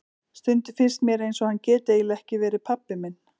Stundum finnst mér eins og hann geti eiginlega ekki verið pabbi minn.